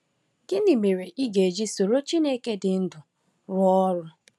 Gịnị mere ị ga-eji soro Chineke dị ndụ rụọ ọrụ?